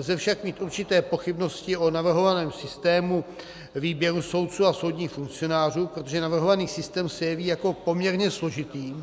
Lze však mít určité pochybnosti o navrhovaném systému výběrů soudců a soudních funkcionářů, protože navrhovaný systém se jeví jako poměrně složitý